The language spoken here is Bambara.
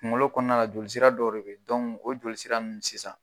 Kunkolo kɔnɔna jolisi dɔw de bɛ dɔn o jolisi sisan